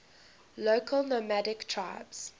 local nomadic tribes